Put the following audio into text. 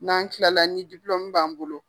N'an tila la ni b'an bolo.